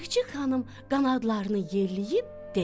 Çik-çik xanım qanadlarını yelleyib dedi: